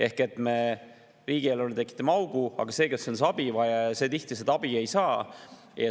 Ehk siis me riigieelarvesse tekitame augu, aga abivajaja tihti abi ei saa.